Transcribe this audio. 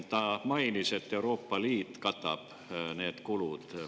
Ta mainis, et Euroopa Liit katab need kulud.